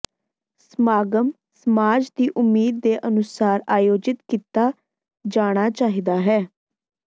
ਸਮਾਗਮ ਸਮਾਜ ਦੀ ਉਮੀਦ ਦੇ ਅਨੁਸਾਰ ਆਯੋਜਿਤ ਕੀਤਾ ਜਾਣਾ ਚਾਹੀਦਾ ਹੈ